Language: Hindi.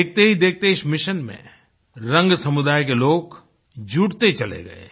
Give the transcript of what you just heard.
देखतेहीदेखते इस मिशन में रंग समुदाय के लोग जुटते चले गए